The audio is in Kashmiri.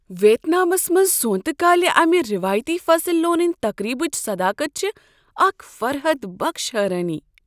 ویتنامس منز سونٛتہ کالہ امہ روایتی فصل لونن تقریبچ صداقت چھےٚ اکھ فرحت بخش حیرٲنی۔